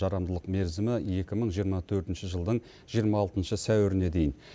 жарамдылық мерзімі екі мың жиырма төртінші жылдың жиырма алтыншы сәуіріне дейін